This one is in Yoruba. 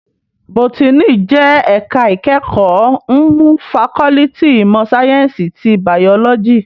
Bótìní jè èká ikèékò mnú fàkòlìtí imò sáyènsí ti báyólòjí